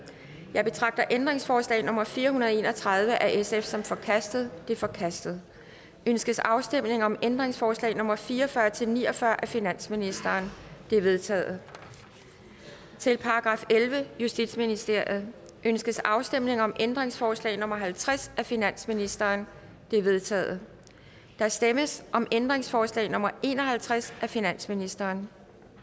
jeg betragter ændringsforslag nummer fire hundrede og en og tredive af sf som forkastet det er forkastet ønskes afstemning om ændringsforslag nummer fire og fyrre til ni og fyrre af finansministeren de er vedtaget til § ellevte justitsministeriet ønskes afstemning om ændringsforslag nummer halvtreds af finansministeren det er vedtaget der stemmes om ændringsforslag nummer en og halvtreds af finansministeren